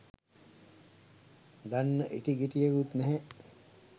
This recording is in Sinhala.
දන්න ඉටි ගෙඩියකුත් නැහැ